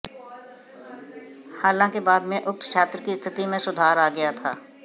हालांकि बाद में उक्त छात्र की स्थिति में सुधार आ गया था